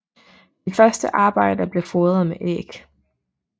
De første arbejdere bliver fodret med æg